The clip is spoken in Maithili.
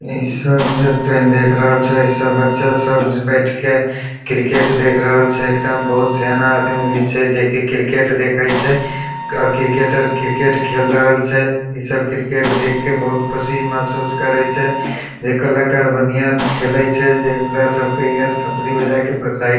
इ सब जे तोई देख रहल छा इ सब जे बच्चा सब बैठ के क्रिकेट देख रहल छै एकरा में बहुत सियाना आदमी भी छै जे कि क्रिकेट देखे छै और क्रिकेटर क्रिकेट खेल रहल छै इ सब क्रिकेट देख के बहुत ख़ुशी महसूस करे छै जे कलाकार बढ़िया खेले छै जे ओकरा सब के इ आर थप्पड़ी बजा के प्रोत्साहित --